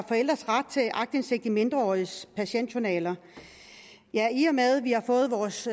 forældres ret til aktindsigt i mindreåriges patientjournaler i og med at vi har fået vores